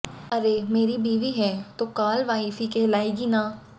अरे मेरी बीवी है तो काल वाइफ ही कहलाएगी ना